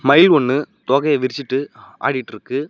மயில் ஒன்னு தோகய விருச்சிட்டு ஆடிட்டுருக்கு.